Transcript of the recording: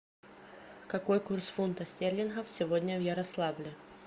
какой курс фунтов стерлингов сегодня в ярославле